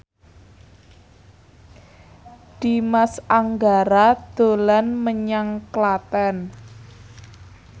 Dimas Anggara dolan menyang Klaten